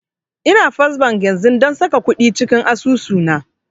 Ina first bank yanzun don saka kuɗi cikin asusu na